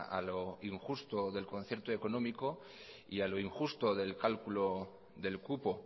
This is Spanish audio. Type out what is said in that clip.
a lo injusto del concierto económico y a lo injusto del cálculo del cupo